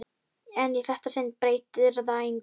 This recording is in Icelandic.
En í þetta sinn breytir það engu.